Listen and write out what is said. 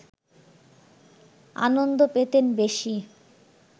আনন্দ পেতেন বেশি